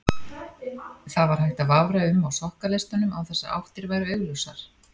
Þar var hægt að vafra um á sokkaleistunum án þess að áttir væru augljósar.